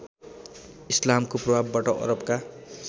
इस्लामको प्रभावबाट अरबका